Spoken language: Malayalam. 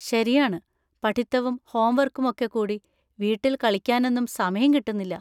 ശരിയാണ്, പഠിത്തവും ഹോംവർക്കും ഒക്കെക്കൂടി വീട്ടിൽ കളിക്കാനൊന്നും സമയം കിട്ടുന്നില്ല.